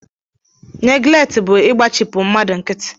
Neglekti bụ igbachipu mmadụ nkịtị